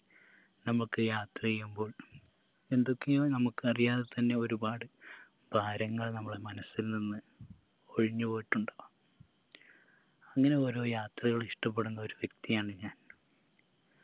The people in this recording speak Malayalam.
നമുക്ക് യാത്രെയ്യുമ്പോൾ എന്തൊക്കെയോ നമുക്ക് അറിയാതെ തന്നെ ഒരുപാട് ഭാരങ്ങൾ നമ്മളെ മനസ്സിൽ നിന്ന് ഒഴിഞ്ഞ് പോയിട്ടുണ്ടാവാം ഇങ്ങനെ ഓരോ യാത്രകൾ ഇഷ്ട്ടപ്പെടുന്ന ഒരു വ്യക്തിയാണ് ഞാൻ